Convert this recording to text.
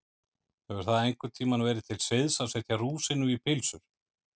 Hefur það einhvern tíma verið til siðs að setja rúsínu í pylsur?